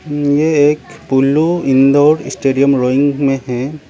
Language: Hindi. ये एक पुलु इनडोर स्टेडियम रोइंग में है।